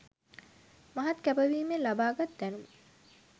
මහත් කැපවීමෙන් ලබාගත් දැනුම